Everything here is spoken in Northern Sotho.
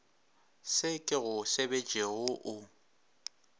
se ke go sebetšego o